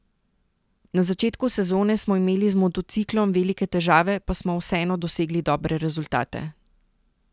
Na začetku sezone smo imeli z motociklom velike težave, pa smo vseeno dosegali dobre rezultate.